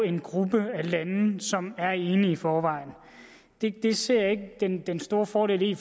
en gruppe af lande som er enige i forvejen det det ser jeg ikke den den store fordel i